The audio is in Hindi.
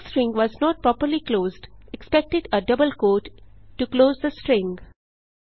text string was not properly closed expected a double quote to close the string